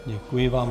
Děkuji vám.